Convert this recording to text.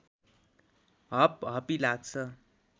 हपहपी लाग्छ